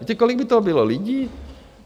Víte, kolik by to bylo lidí?